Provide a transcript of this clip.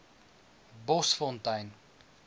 bosfontein